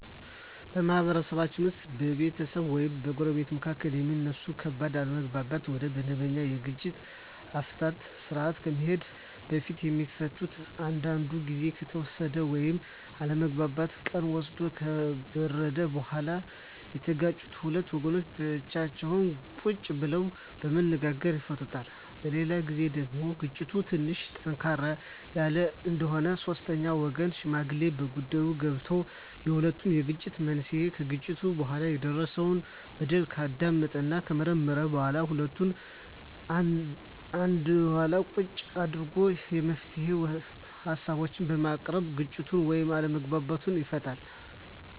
በማህበረሰብ ውስጥ በቤተሰብ ወይም በጎረቤቶች መካከል የሚነሱ ከባድ አለመግባባቶች ወደመበኛ የግጭት አፈታት ስርአት ከመሄዱ በፊት የሚፈቱት አንዳንዱ ግዜ ከተወሰደ ወይም አለመግባባቱ ቀን ወስዶ ከበረደ በኋላ የተጋጩት ሁለት ወገኖች ብቻቸውን ቁጭ ብለው በመነጋገር ይፈቱታል። በሌላ ግዜ ደግሞ ግጭቱ ትንሽ ጠንከር ያለ እንደሆነ ሶስተኛ ወገን ወይም ሽማግሌ በጉዳይዮ ገብቶበት የሁለቱንም የግጭት መንሴና ከግጭቱ በኋላ የደረሰው በደል ካዳመጠና ከመረመረ በኋላ ሁለቱንም አንድላ ቁጭ አድርጎ የመፍትሄ ሀሳቦችን በማቅረብ ግጭቱን ወይም አለመግባባቱን ይፈታል።